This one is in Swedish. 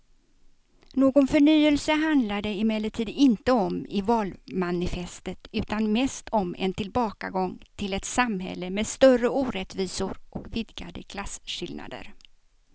Någon förnyelse handlar det emellertid inte om i valmanifestet utan mest om en tillbakagång till ett samhälle med större orättvisor och vidgade klasskillnader.